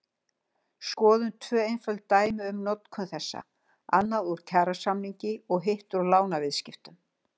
Skoðum tvö einföld dæmi um notkun þessa, annað úr kjarasamningi og hitt úr lánsviðskiptum.